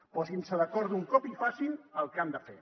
posin se d’acord d’un cop i facin el que han de fer